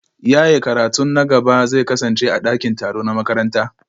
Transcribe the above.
Yaye karatun na gaba zai kasance a dakin taro na makaranta